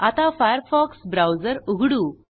आता Firefox browser उघडू